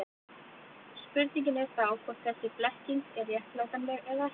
Spurningin er þá hvort þessi blekking er réttlætanleg eða ekki.